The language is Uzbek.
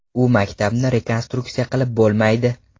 U maktabni rekonstruksiya qilib bo‘lmaydi.